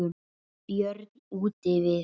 Björn útivið.